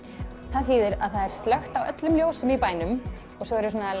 það þýðir að það er slökkt á öllum ljósum í bænum og svo eru svona